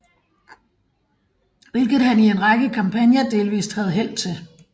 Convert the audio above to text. Hvilket han i en række kampagner delvist havde held til